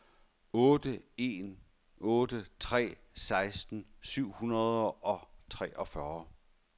otte en otte tre seksten syv hundrede og treogfyrre